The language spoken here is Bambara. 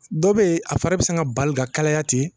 Dɔw bɛ yen , a fari bɛ sin ka bari ka kalaya ten.